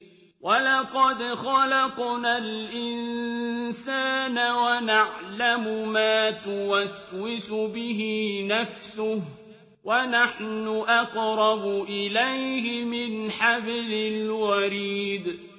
وَلَقَدْ خَلَقْنَا الْإِنسَانَ وَنَعْلَمُ مَا تُوَسْوِسُ بِهِ نَفْسُهُ ۖ وَنَحْنُ أَقْرَبُ إِلَيْهِ مِنْ حَبْلِ الْوَرِيدِ